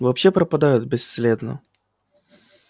вообще пропадают бесследно